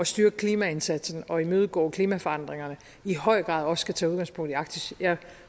styrke klimaindsatsen og imødegå klimaforandringerne i høj grad også skal tage udgangspunkt i arktis jeg